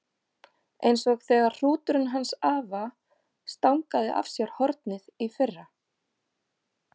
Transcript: Eins og þegar hrúturinn hans afa stangaði af sér hornið í fyrra.